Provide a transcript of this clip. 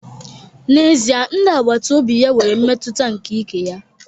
N'ezie, ndị agbata obi ya nwere mmetụta nke ike ya